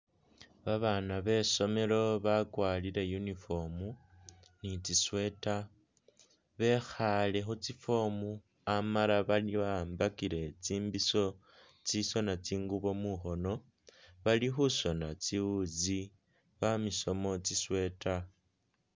Babana be somelo bakwarire uniform ni tsi sweater bekhale Khu tsi foam amala bawambile tsimbisho tsisona tsingubo mukhono bali khusona tsiwuzi bamisemo tsi sweater.